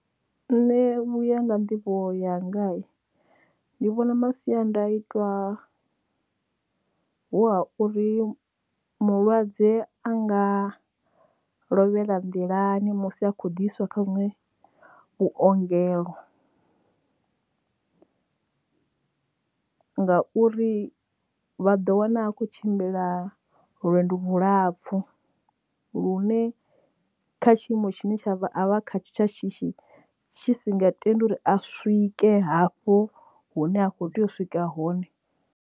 Nṋe uya nga nḓivho ya nga ndi vhona masiandaitwa hu ha uri mulwadze anga lovhela nḓilani musi a khou diswa kha vhunwe vhuongelo ngauri vha ḓo wana a khou tshimbila lwendo vhulapfu lune kha tshiimo tshine tsha a kha tsha shishi tshi si nga tendi uri a swike hafho hune a khou tea u swika hone.